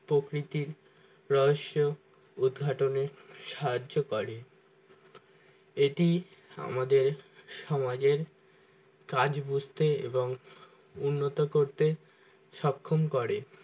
প্রকৃতির রহস্য উদঘাটনে সাহায্য করে এতেই আমাদের সমাজের কাজ বুঝতে এবং উন্নত করতে সক্ষম করে।